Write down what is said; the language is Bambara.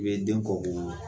I bɛ den kɔ ko o